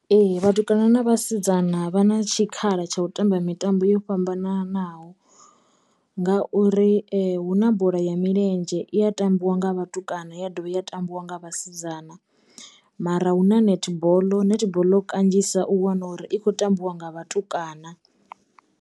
Ee vhatukana na vhasidzana vha na tshikhala tsha u tamba mitambo yo fhambananaho nga uri hu na bola ya milenzhe i ya tambiwa nga vhatukana ya dovha ya tambiwa nga vhasidzana mara hu na nethiboḽo, nethiboḽo kanzhisa u wana uri i kho tambiwa nga vhatukana.